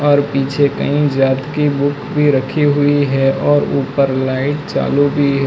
और पीछे कही जात की बुक भी रखी हुई है और ऊपर लाइट चालू भी है।